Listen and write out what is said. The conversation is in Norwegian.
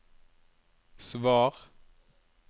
svar